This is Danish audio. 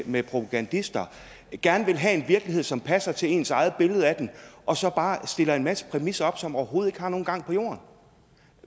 med propagandister gerne vil have en virkelighed som passer til ens eget billede af den og så bare stiller en masse præmisser op som overhovedet ikke har nogen gang på jorden